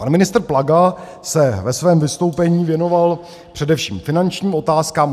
Pan ministr Plaga se ve svém vystoupení věnoval především finančním otázkám.